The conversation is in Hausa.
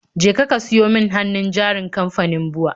Jeka ka siyo min hannun jarin kamfanin BUA